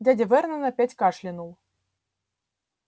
дядя вернон опять кашлянул